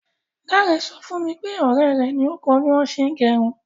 Dáre sọ fún mi pé ọ̀rẹ́ rẹ̀ ni ó kọ bí wọn ṣe ń gẹrun.